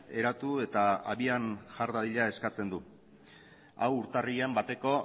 eratu eta abian jar dadila eskatzen du hau urtarrilaren bateko